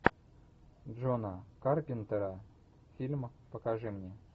джона карпентера фильм покажи мне